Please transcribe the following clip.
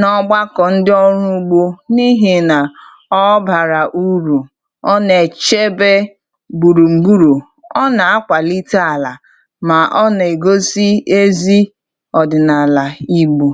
n’ọgbakọ ndị ọrụ ugbo n’ihi na ọ bara urù, ọ na-echebe gbùrùgburụ, ọ na-akwalite ala, ma ọ na-egosi ezi ọdịnala igbo.